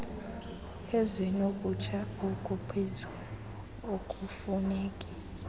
ezinokutsha okuphezulu okufuneki